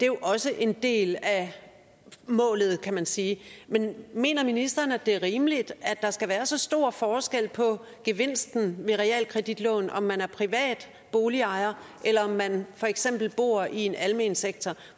jo også en del af målet kan man sige men mener ministeren at det er rimeligt at der skal være så stor forskel på gevinsten ved realkreditlån om man er privat boligejer eller om man for eksempel bor i en almen sektor